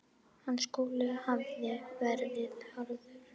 Hans skóli hafði verið harður.